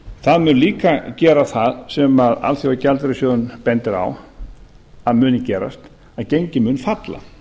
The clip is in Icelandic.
það mun líka gera það sem alþjóðagjaldeyrissjóðurinn bendir á að að muni gerast að gengið mun falla